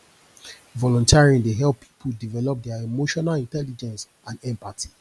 volunteering dey help people develop dia emotional intelligence and empathy